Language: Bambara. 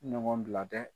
Ɲɔgɔn bila dɛ